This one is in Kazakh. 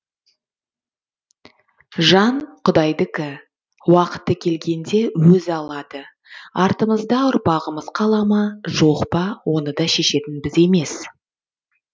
жан құдайдікі уақыты келгенде өзі алады артымызда ұрпағымыз қала ма жоқ па оны да шешетін біз емес